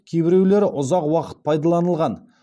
кейбіреулері ұзақ уақыт пайдаланылған